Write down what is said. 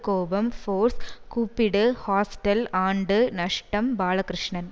கோபம் ஃபோர்ஸ் கூப்பிடு ஹாஸ்டல் ஆண்டு நஷ்டம் பாலகிருஷ்ணன்